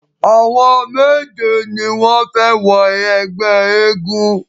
Àwọn méje ni wọ́n fẹ wọ ẹgbẹ́ eégún.